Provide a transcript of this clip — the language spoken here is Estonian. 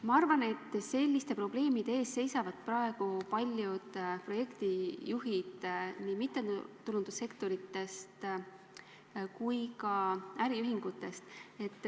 Ma arvan, et selliste probleemide ees seisavad paljud projektijuhid nii mittetulundussektoris kui ka äriühingutes.